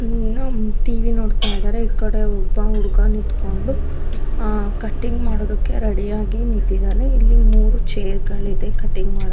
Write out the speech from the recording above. ಏನೋ ಟಿವಿ ನೋಡ್ತಿದ್ದಾರೆ ಈ ಕಡೆ ಒಬ್ಬ ಹುಡುಗ ನಿಂತ್ಕೊಂಡು ಆ ಕಟಿಂಗ್ ಮಾಡೋದಕ್ಕೆ ರೆಡಿಯಾಗಿ ನಿಂತಿದ್ದಾನೆ ಈ ಮೂರು ಚೇರ್ಗಳಿಗೆ ಕಟಿಂಗ್ ಮಾಡೋದಿಕ್ಕೆ.